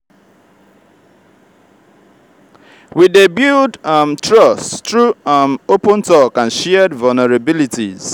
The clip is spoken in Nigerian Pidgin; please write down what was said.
we dey build um trust through um open talk and shared vulnerabilities.